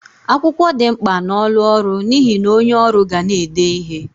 Akwụkwọ di mkpa n'ọlụ ọrụ n'ihe na onye ọrụ ga na-ede ihe.